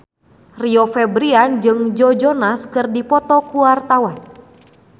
Rio Febrian jeung Joe Jonas keur dipoto ku wartawan